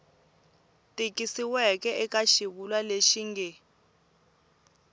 tikisiweke eka xivulwa lexi nge